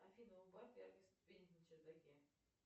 афина убавь яркость на чердаке